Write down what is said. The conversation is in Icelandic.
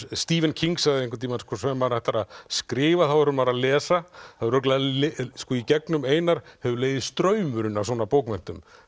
Stephen King sagði einhvern tímann þegar maður ætlar að skrifa þá verður maður að lesa í gegnum Einar hefur legið straumurinn af svona bókmenntum